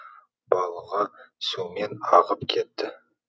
балығы сумен ағып кетті